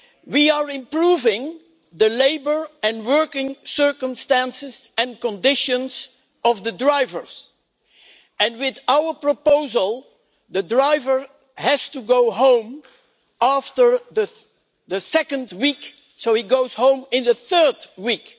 We are improving the labour and working circumstances and conditions of the drivers, and with our proposal a driver has to go home after the second week so he goes home in the third week.